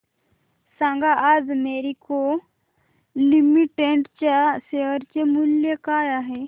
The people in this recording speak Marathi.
सांगा आज मॅरिको लिमिटेड च्या शेअर चे मूल्य काय आहे